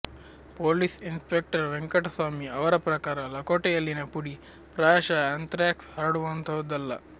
police inspector Venkataswamy ಅವರ ಪ್ರಕಾರ ಲಕೋಟೆಯಲ್ಲಿನ ಪುಡಿ ಪ್ರಾಯಶಃ ಆ್ಯಂಥ್ರಾಕ್ಸ್ ಹರಡುವಂತಹುದಲ್ಲ